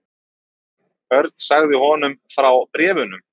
Örn sagði honum frá bréfunum.